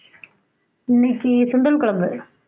இன்னைக்கி சுண்டல் குழம்பு